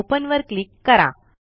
open वर click करा